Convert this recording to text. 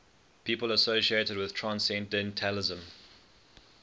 people associated with transcendentalism